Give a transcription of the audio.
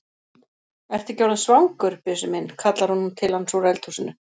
Ertu ekki orðinn svangur, Bjössi minn? kallar hún til hans úr eldhúsinu.